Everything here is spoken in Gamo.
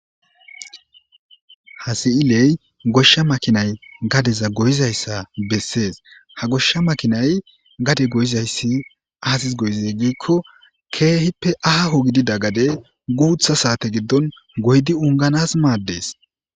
hasi7iley goshsha makinay gadeza goyizayssa bessees ha goshsha makinay gade goyizayssi aasis goyizey giikko keehippe aaho gidida gade guutha saate giddon goydi unganas maaddees